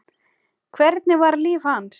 Hvernig var líf hans?